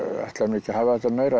ekki að hafa þetta meira